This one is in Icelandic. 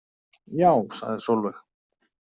Já, sagði Sólveig.